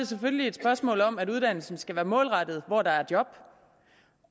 selvfølgelig et spørgsmål om at uddannelsen skal være målrettet mod hvor der er job